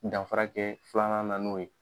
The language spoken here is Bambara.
Danfarakɛ filanan na n'o ye.